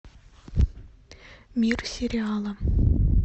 мир сериала